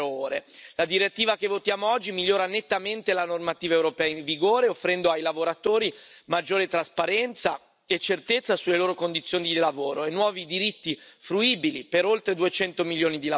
La direttiva che votiamo oggi migliora nettamente la normativa europea in vigore, offrendo ai lavoratori maggiore trasparenza e certezza sulle loro condizioni di lavoro e nuovi diritti fruibili per oltre duecento milioni di lavoratori.